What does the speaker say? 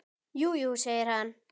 Jú, jú, segir hann.